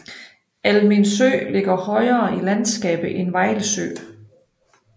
Almindsø ligger højere i landskabet end Vejlsø